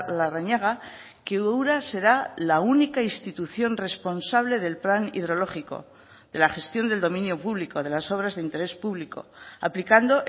larrañaga que ura será la única institución responsable del plan hidrológico de la gestión del dominio público de las obras de interés público aplicando